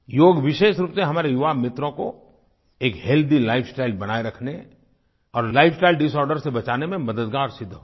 योग विशेष रूप से हमारे युवा मित्रों को एक हेल्थी लाइफस्टाइल बनाये रखने और लाइफस्टाइल डिसॉर्डर से बचाने में मददगार सिद्ध होगा